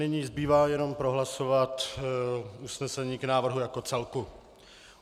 Nyní zbývá jenom prohlasovat usnesení k návrhu jako celku.